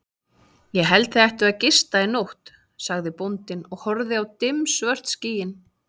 Ég held þið ættuð að gista í nótt, sagði bóndinn og horfði á dimmsvört skýin.